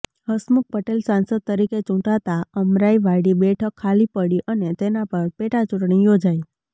હસમુખ પટેલ સાંસદ તરીકે ચૂંટાતા અમરાઈવાડી બેઠક ખાલી પડી અને તેના પર પેટાચૂંટણી યોજાઇ